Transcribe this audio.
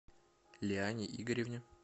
лиане игоревне